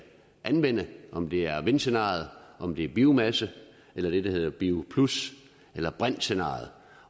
anvende om det er vindscenariet om det er biomasse eller det der hedder bio plus eller brintscenariet